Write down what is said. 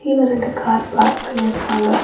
கீழ ரெண்டு car park பண்ணிருக்காங்க.